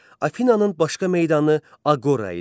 Afinananın başqa meydanı Aqora idi.